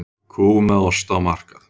Kú með osta á markað